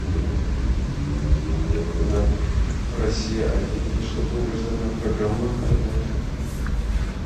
на россия один вышла долгожданная программа прямой эфир